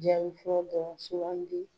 Jaabi fɔlɔ dɔrɔn sugandi.